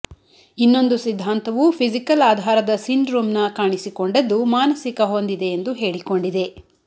ಇನ್ನೊಂದು ಸಿದ್ಧಾಂತವು ಫಿಸಿಕಲ್ ಆಧಾರದ ಸಿಂಡ್ರೋಮ್ನ ಕಾಣಿಸಿಕೊಂಡದ್ದು ಮಾನಸಿಕ ಹೊಂದಿದೆ ಎಂದು ಹೇಳಿಕೊಂಡಿದೆ